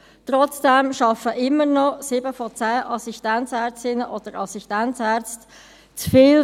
Trotzdem arbeiten immer noch 7 von 10 Assistenzärztinnen und ärzten zu viel.